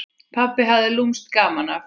Pabbi hafði lúmskt gaman af.